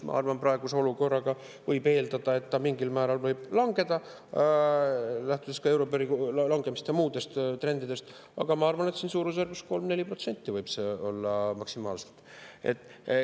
Ma arvan, et praeguses olukorras võib eeldada, et see mingil määral võib langeda, lähtudes ka euribori langemisest ja muudest trendidest, aga ma arvan, et suurusjärgus 3–4% võib see maksimaalselt olla.